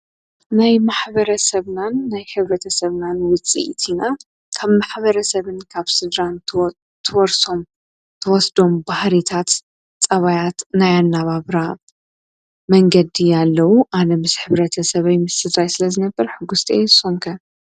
ናይ ማኅበረ ሰብናን ናይ ኅብረተ ሰብናን ውፂ ይቲና ካብ ማኅበረ ሰብን ካብ ሥድራን ተወርሶም ተወስዶም ባሕሪታት ጸባያት ናይ ኣናባብራ መንገዲ ያለዉ ኣነምስ ሕብረተ ሰበይ ምስጻይ ስለ ዝነበር ሕጉሥጦ የየ ሶንከ